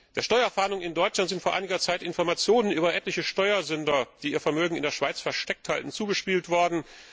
Der Steuerfahndung in Deutschland sind vor einiger Zeit Informationen über etliche Steuersünder, die ihr Vermögen in der Schweiz versteckt halten, zugespielt worden.